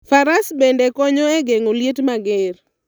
Faras bende konyo e geng'o liet mager.